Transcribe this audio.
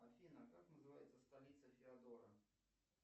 афина как называется столица феодора